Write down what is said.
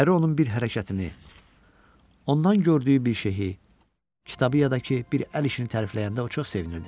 Əri onun bir hərəkətini, ondan gördüyü bir şeyi, kitabı ya da ki, bir əl işini tərifləyəndə o çox sevinirdi.